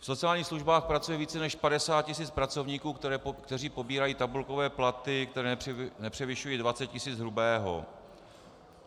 V sociálních službách pracuje více než 50 tisíc pracovníků, kteří pobírají tabulkové platy, které nepřevyšují 20 tisíc hrubého.